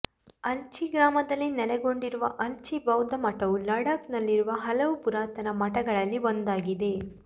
ಅಲ್ಚಿ ಗ್ರಾಮದಲ್ಲಿ ನೆಲೆಗೊಂಡಿರುವ ಅಲ್ಚಿ ಬೌದ್ಧ ಮಠವು ಲಡಾಖ್ ನಲ್ಲಿರುವ ಹಲವು ಪುರಾತನ ಮಠಗಳಲ್ಲಿ ಒಂದಾಗಿದೆ